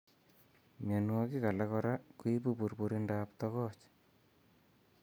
Mionwokik alak koraa koibu burburindab togoch